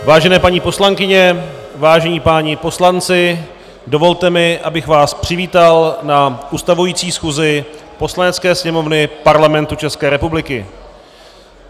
Vážené paní poslankyně, vážení páni poslanci, dovolte mi, abych vás přivítal na ustavující schůzi Poslanecké sněmovny Parlamentu České republiky.